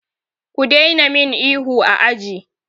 Ku daina min ihu a aji!